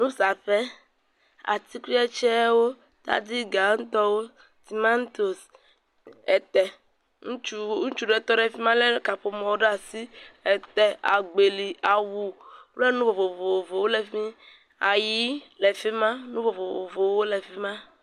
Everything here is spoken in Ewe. Nusaƒe, atikutsetsewo, tadi gãtɔwo, tomatosi, ete, ŋutsu, ŋutsu ɖe tɔ ɖe fi ma lé kaƒomɔ ɖe asi. Te, agbeli, awu kple nu vovovowo le fi mi. Ayi le fi ma. Nu vovovowo le fi ma.